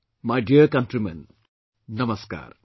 My dear countrymen, Namaskar